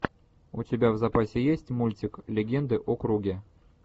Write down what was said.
у тебя в запасе есть мультик легенды о круге